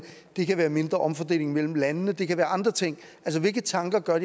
det kan være mindre omfordeling mellem landene det kan være andre ting altså hvilke tanker gør